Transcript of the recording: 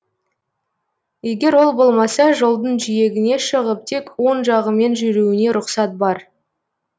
егер ол болмаса жолдың жиегіне шығып тек оң жағымен жүруіне рұқсат бар